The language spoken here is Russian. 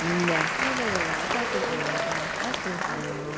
да да-да-да так и сделал да так и сделала